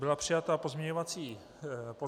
Byly přijaty pozměňovací návrhy.